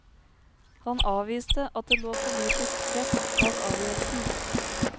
Han avviste at det lå politisk press bak avgjørelsen.